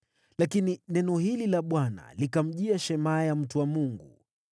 Lakini neno hili la Bwana likamjia Shemaya mtu wa Mungu: